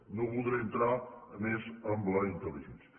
i no voldré entrar més en la intel·ligència